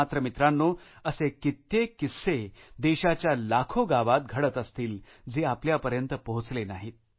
मात्र मित्रांनो असे कित्येक किस्से देशाच्या लाखो गावात घडत असतीलजे आपल्यापर्यंत पोहचत नाही